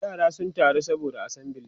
yara sun taru saboda assembly